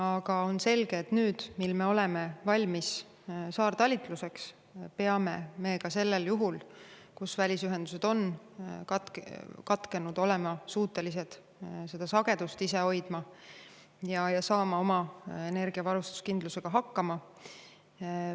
Aga on selge, et nüüd, kui me oleme valmis saartalitluseks, me peame ka sellisel juhul, kui välisühendused on katkenud, olema suutelised ise sagedust hoidma ja saama oma energiavarustuskindlusega hakkama.